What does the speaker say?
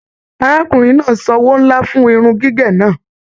Arákùnrin náà sanwó nlá fún irun gígé náà.